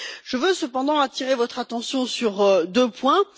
Je veux, cependant, attirer votre attention sur deux points.